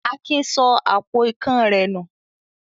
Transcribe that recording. Adé sọ àpò ikán rẹ̀ nù.